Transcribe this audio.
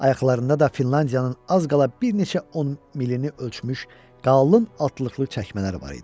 Ayaqlarında da Finlandiyanın az qala bir neçə on milini ölçmüş qalın altlıqlı çəkmələr var idi.